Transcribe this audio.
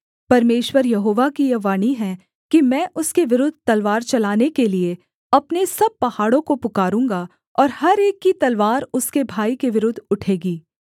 परमेश्वर यहोवा की यह वाणी है कि मैं उसके विरुद्ध तलवार चलाने के लिये अपने सब पहाड़ों को पुकारूँगा और हर एक की तलवार उसके भाई के विरुद्ध उठेगी